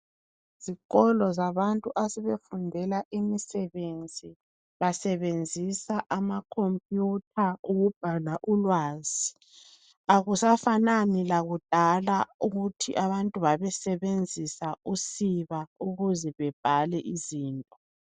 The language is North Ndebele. Izikolo zabantu asebefundela imisebenzi basebenzisa ama computer ukubhala ulwazi. Akusafanani lakudala ukuthi abantu babesebenzisa usiba ukuze bebhale izinto.